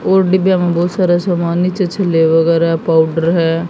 और डिब्बियां में बहुत सारा सामान नीचे छिले वगैरा पाउडर है।